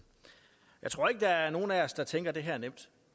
jeg tror ikke der er nogen af os der tænker at det her er nemt